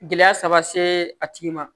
Gɛlɛya saba see a tigi ma